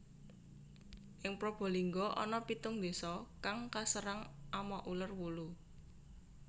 Ing Probolinggo ana pitung désa kang kaserang ama uler wulu